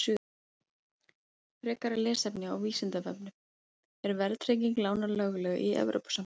Frekara lesefni á Vísindavefnum: Er verðtrygging lána lögleg í Evrópusambandinu?